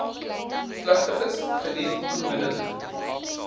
klagtes geniet onmiddellik